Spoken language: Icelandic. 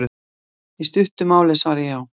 Í stuttu máli er svarið já.